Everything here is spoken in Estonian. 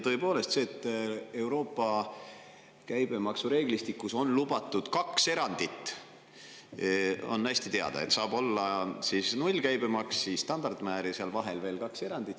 Tõepoolest, see, et Euroopa käibemaksureeglistikus on lubatud kaks erandit, on hästi teada: saab olla nullkäibemaks, siis standardmäär ja seal vahel veel kaks erandit.